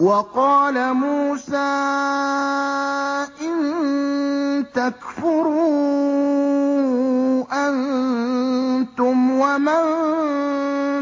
وَقَالَ مُوسَىٰ إِن تَكْفُرُوا أَنتُمْ وَمَن